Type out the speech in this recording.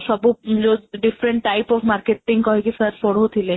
ସବୁ ଯୋଉ different type of marketing କହି କି sir ପଢଉଥିଲେ